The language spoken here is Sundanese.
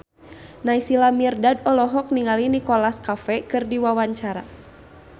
Naysila Mirdad olohok ningali Nicholas Cafe keur diwawancara